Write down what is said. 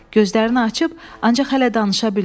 Gözlərini açıb, ancaq hələ danışa bilmir.